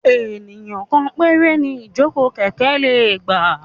Ènìyàn kan péré ni ìjókòó kẹ̀kẹ́ lè gbà.